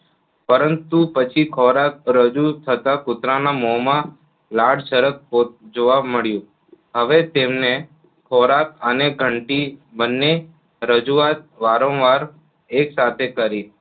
પરંતુ પછી ખોરાક રજુ થતા કુતરાના મોમાં લાળ સરક જોવા મળ્યું હવે તેમને ખોરાક અને ઘંટી બંને રજૂઆત વારંવાર એક સાથે કરી